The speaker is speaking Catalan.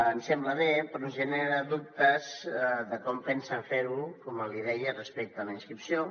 ens sembla bé però ens genera dubtes com pensen fer ho com li deia respecte a la inscripció